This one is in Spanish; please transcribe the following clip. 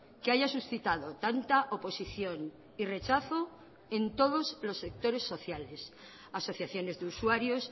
que haya suscitado tanta oposición y rechazo en todos los sectores sociales asociaciones de usuarios